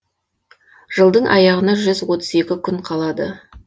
жылдың аяғына жүз отыз екі күн қалады